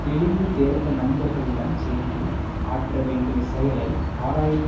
தெளிந்து தேர்ந்த நண்பர்களுடன் சேர்ந்து ஆற்ற வேண்டிய செயலை ஆராய்ந்து